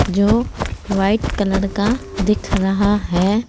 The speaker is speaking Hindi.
जो वाइट कलर का दिख रहा है।